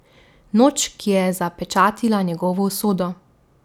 Noč, ki je zapečatila njegovo usodo.